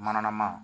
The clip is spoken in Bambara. Mana ma